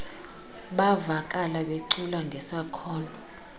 bavakala becula ngesakhono